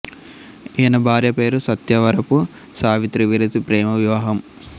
ఈయన భార్య పేరు సత్యవరపు సావిత్రి వీరిది ప్రేమ వివాహం